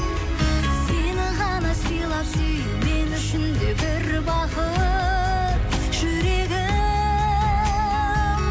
сені ғана сыйлап сүю мен үшін де бір бақыт жүрегім